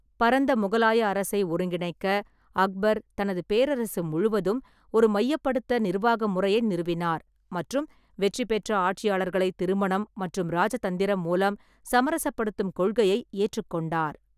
பரந்த முகலாய அரசை ஒருங்கிணைக்க, அக்பர் தனது பேரரசு முழுவதும் ஒரு மையப்படுத்த நிர்வாக முறையை நிறுவினார் மற்றும் வெற்றி பெற்ற ஆட்சியாளர்களை திருமணம் மற்றும் இராஜதந்திரம் மூலம் சமரசப்படுத்தும் கொள்கையை ஏற்றுக்கொண்டார்.